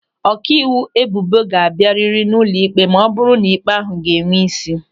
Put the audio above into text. Ọkaiwu ebubo ga-abịa rịrị n'ụlọ ịkpe ma ọ bụrụ na ịkpe ahụ ga-enwe ísí.